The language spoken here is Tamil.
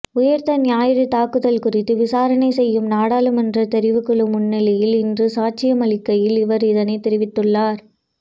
உயிர்த்த ஞாயிறு தாக்குதல்கள் குறித்து விசாரணை செய்யும் நாடாளுமன்ற தெரிவுக்குழு முன்னிலையில் இன்று சாட்சியமளிக்கையில் அவர் இதனை தெரிவித்துள்ளார்